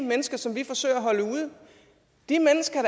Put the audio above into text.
mennesker som vi forsøger at holde ude de mennesker